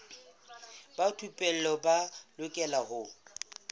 ba thupelo ba lokela ho